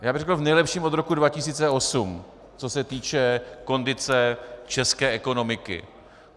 Já bych řekl v nejlepším od roku 2008, co se týče kondice české ekonomiky.